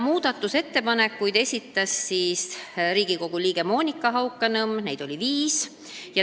Muudatusettepanekuid esitas Riigikogu liige Monika Haukanõmm, neid oli viis.